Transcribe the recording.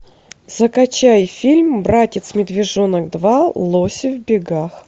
закачай фильм братец медвежонок два лоси в бегах